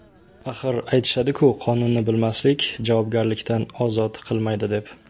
Axir aytishadiku, qonunni bilmaslik javobgarlikdan ozod qilmaydi, deb.